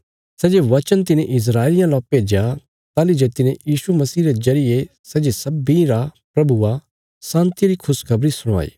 सै जे वचन तिने इस्राएलियां ला भेज्या ताहली जे तिने यीशु मसीह रे जरिये सै जे सब्बीं रा प्रभु आ शान्तिया री खुशखबरी सुणाई